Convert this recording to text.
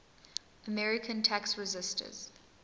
american tax resisters